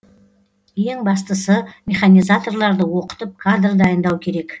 ең бастысы механизаторларды оқытып кадр дайындау керек